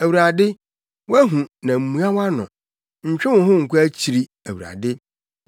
Awurade, woahu na mmua wʼano. Ntwe wo ho nkɔ akyiri, Awurade.